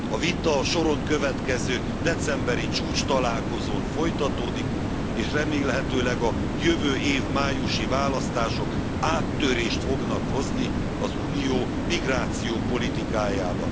A vita a soron következő decemberi csúcstalálkozón folytatódik és remélhetőleg a jövő év májusi választások áttörést fognak hozni az Unió migrációpolitikájában.